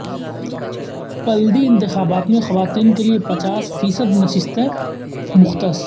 بلدی انتخابات میں خواتین کیلئے پچاس فیصد نشستیں مختص